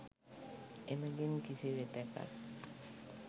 එමගින් කිසිවිටෙකත්